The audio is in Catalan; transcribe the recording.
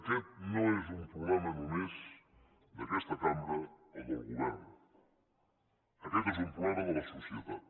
aquest no és un problema només d’aquesta cambra o del govern aquest és un problema de la societat